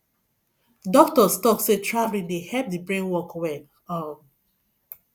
doctors talk sey traveling dey help the brain work well um